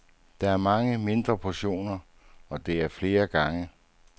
Der er mange mindre portioner, og det er flere gange.